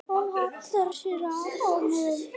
Hún hallar sér að honum.